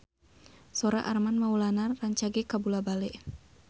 Sora Armand Maulana rancage kabula-bale